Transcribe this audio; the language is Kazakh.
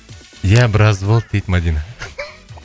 ия біраз болды дейді мадина